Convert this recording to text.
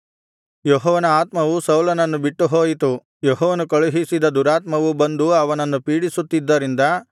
ಯೆಹೋವನ ಆತ್ಮವು ಸೌಲನನ್ನು ಬಿಟ್ಟು ಹೋಯಿತು ಯೆಹೋವನು ಕಳುಹಿಸಿದ ದುರಾತ್ಮವು ಬಂದು ಅವನನ್ನು ಪೀಡಿಸುತ್ತಿದ್ದರಿಂದ